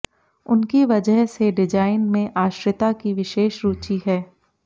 उनकी वजह से डिजाइन में आश्रिता की विशेष रुचि है